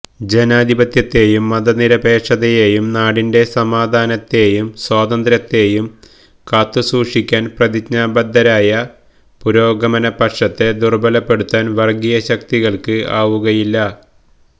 ജനാധിപത്യത്തെയും മതനിരപേക്ഷതയെയും നാടിന്റെ സമാധാനത്തെയും സ്വാതന്ത്ര്യത്തെയും കാത്തുസൂക്ഷിക്കാന് പ്രതിജ്ഞാബദ്ധമായ പുരോഗമന പക്ഷത്തെ ദുര്ബലപ്പെടുത്താന് വര്ഗീയശക്തികള്ക്ക് ആവുകയില്ല